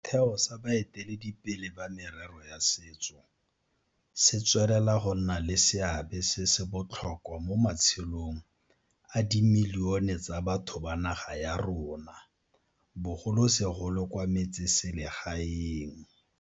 Setheo sa baeteledipele ba merero ya setso se tswelela go nna le seabe se se botlhokwa mo matshelong a dimilione tsa batho ba naga ya rona, bogolosegolo kwa metseselegaeng.